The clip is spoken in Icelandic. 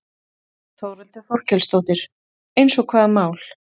Þórhildur Þorkelsdóttir: Eins og hvaða mál?